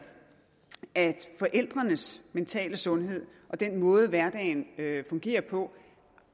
at forældrenes mentale sundhed og den måde hverdagen fungerer på